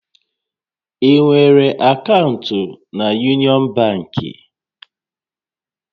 Ị nwere akaụntụ na Yunịọn bankị?